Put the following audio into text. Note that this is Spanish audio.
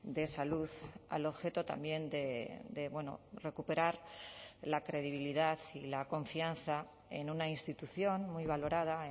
de salud al objeto también de recuperar la credibilidad y la confianza en una institución muy valorada